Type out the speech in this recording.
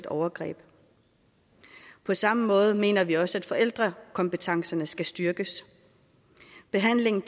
overgreb på samme måde mener vi også at forældrekompetencerne skal styrkes behandling